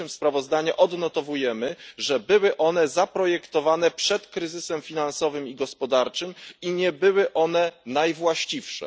1. sprawozdania odnotowujemy, że były one zaprojektowane przed kryzysem finansowym i gospodarczym i nie były one najwłaściwsze.